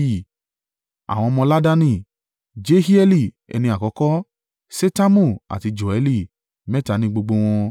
Àwọn ọmọ Laadani Jehieli ẹni àkọ́kọ́, Setamu àti Joẹli, mẹ́ta ní gbogbo wọn.